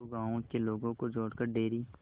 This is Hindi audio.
दो गांवों के लोगों को जोड़कर डेयरी